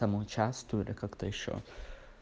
там участвовали как-то ещё